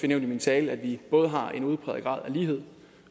nævnt i min tale at vi både har en udpræget grad af lighed